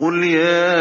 قُلْ يَا